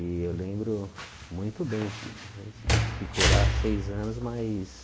E eu lembro muito bem, a gente ficou lá seis anos, mas...